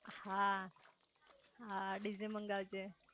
હા હા ડીજે મંગાવ જે